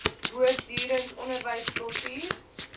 voortdurend onderwys kultuur